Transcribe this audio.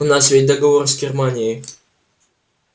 у нас ведь договор с германией